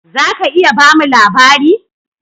"Zaka iya bamu labari?